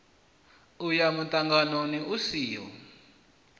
u ya muṱanganoni u siho